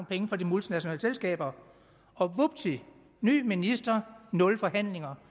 penge fra de multinationale selskaber og vupti ny minister nul forhandlinger